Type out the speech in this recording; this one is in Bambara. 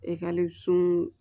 Ekɔliso